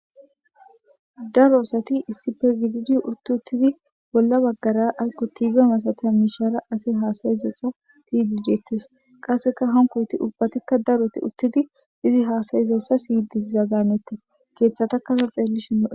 daro asati issippe gididi uutti uttidi bolla baggara aykko tiibe masatiya mishara ase haasayizayssa beyidiindeettes qasseka hanko asay ubbatikka daroti uuttidi izi haasayizessa siyidi dizayssa hannetes keeththatakka xeellishin lo'etees